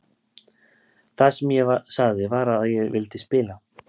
Það sem ég sagði var að ég vildi spila.